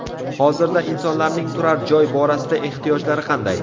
Hozirda insonlarning turar joy borasida ehtiyojlari qanday?